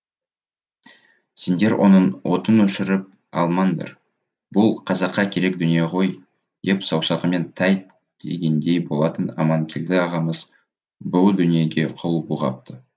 сендер оның отын өшіріп алмаңдар бұл қазаққа керек дүние ғой деп саусағымен тәйт дегендей болатын аманкелді ағамыз бұ дүниеге қол бұлғапты